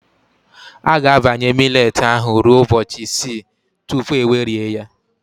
A ga-abanye millet ahụ ruo ụbọchị isii tupu egwerie ya.